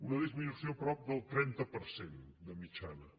una disminució prop del trenta per cent de mitjana